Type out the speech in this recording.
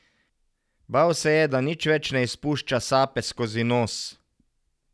Bal se je, da nič več ne izpušča sape skozi nos.